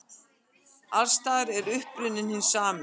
Alls staðar er uppruninn hinn sami.